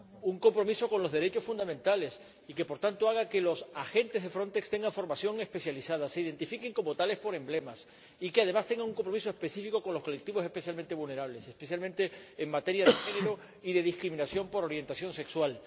Un compromiso con los derechos fundamentales y que, por tanto, haga que los agentes de Frontex tengan formación especializada, se identifiquen como tales por emblemas y, además, tengan un compromiso específico con los colectivos especialmente vulnerables, especialmente en materia de género y de discriminación por orientación sexual.